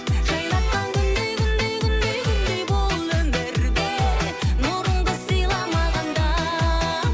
жайнатқан күндей күндей күндей күндей бұл өмірде нұрыңды сыйла маған да